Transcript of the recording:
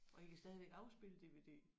Og I kan stadigvæk afspille DVD?